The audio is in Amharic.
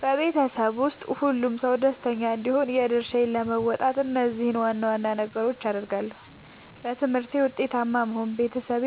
በቤተሰቤ ውስጥ ሁሉም ሰው ደስተኛ እንዲሆን የድርሻዬን ለመወጣት እነዚህን ዋና ዋና ነገሮች አደርጋለሁ፦ በትምህርቴ ውጤታማ መሆን፦ ቤተሰቤ